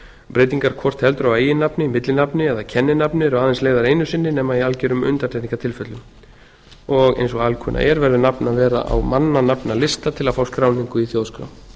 breytingar hvort heldur á eiginnafni millinafni eða kenninafni eru aðeins leyfðar einu sinni nema í algjörum undantekningartilfellum og eins og alkunna er verður nafn að vera á mannanafnalista til að fá skráningu í þjóðskrá